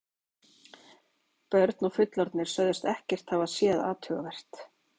Börn og fullorðnir sögðust ekkert hafa séð athugavert.